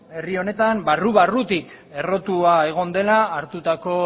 herri honetan barru barrutik errotua egon dela hartutako